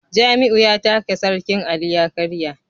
Jamiu ya taka sarkin Ali ya karya